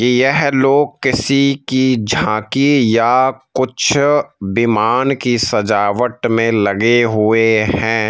यह लोग किसी की झांकी या कुछ विमान की सजावट में लगे हुए हैं।